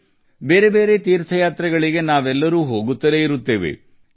ನಾವೆಲ್ಲರೂ ವಿವಿಧ ತೀರ್ಥಯಾತ್ರೆಗಳಿಗೆ ಹೋಗುತ್ತೇವೆ